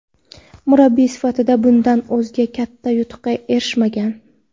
Murabbiy sifatida bundan o‘zga katta yutuqqa erishmagan.